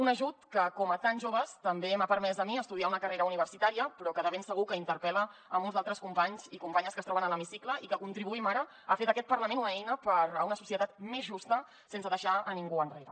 un ajut que com a tants joves també m’ha permès a mi estudiar una carre·ra universitària però que de ben segur que interpel·la molts altres companys i com·panyes que es troben a l’hemicicle i que contribuïm ara a fer d’aquest parlament una eina per a una societat més justa sense deixar ningú enrere